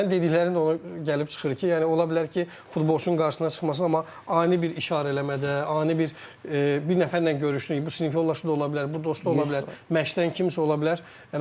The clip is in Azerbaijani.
Və sənin dediklərin ona gəlib çıxır ki, yəni ola bilər ki, futbolçunun qarşısına çıxmasın, amma ani bir işarə eləmədə, ani bir bir nəfərlə görüşdün, bu sinif yoldaşı da ola bilər, bu dostu ola bilər, məşqdən kimsə ola bilər.